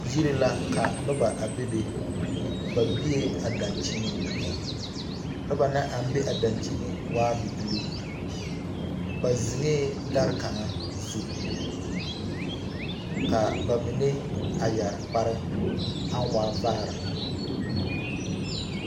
Yiri la ka noba a bebe. Ba biee a dankyiniŋ. Noba na naŋ be a dankyini waa bibilii. Ba zeŋɛɛ dare kaŋa zu. Ka ba mine a yare kparre aŋ waa vaare